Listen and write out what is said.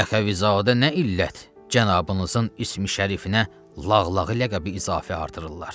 Əxəvizadə nə illət cənabınızın ismi şərifinə lağlağı ləqəbi izafə artırırlar?